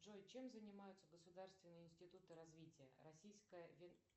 джой чем занимаются государственные институты развития российская